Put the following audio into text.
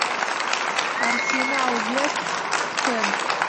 арсенал вест хэм